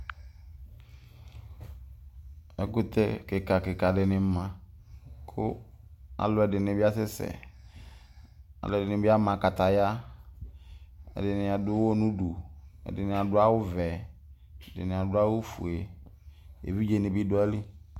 Ɛkutɛ kika kika dini ma kʋ alʋ ɛdini bi asɛsɛ alʋ ɛdini bi ama kataya ɛdini adʋ ʋwɔ nʋ ʋdʋ ɛdini adʋ awʋvɛ ɛdini adʋ awʋfue evidze ni bi dʋ ayili